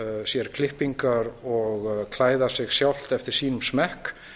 sér klippingar og klæða sig sjálft eftir sínum smekk